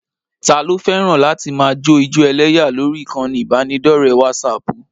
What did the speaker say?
Taa ló fẹ́ràn láti máa jó ijó ẹlẹ́yà lórí ìkànnì ìbánidọ́ọ̀rẹ́ wásaaàpù?